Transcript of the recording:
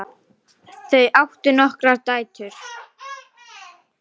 Þau áttu nokkrar dætur.